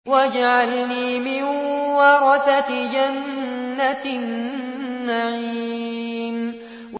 وَاجْعَلْنِي مِن وَرَثَةِ جَنَّةِ النَّعِيمِ